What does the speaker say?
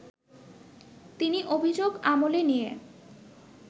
তিনি অভিযোগ আমলে নিয়ে